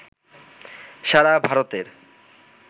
সারা ভারতের